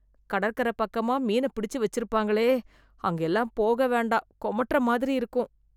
கடற்கர பக்கமா மீன பிடிச்சு வச்சிருப்பாங்களே அங்கயெல்லாம் போக வேண்டாம் கொமட்டற மாதிரி இருக்கும்